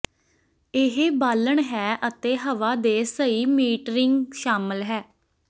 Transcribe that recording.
ਇਹ ਬਾਲਣ ਹੈ ਅਤੇ ਹਵਾ ਦੇ ਸਹੀ ਮੀਟਰਿੰਗ ਸ਼ਾਮਲ ਹੈ